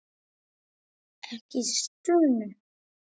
Ekki stunu.